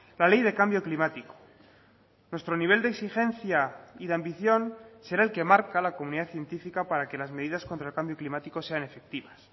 la ley de cambio climático nuestro nivel de exigencia y de ambición será el que marca la comunidad científica para que las medidas contra el cambio climático sean efectivas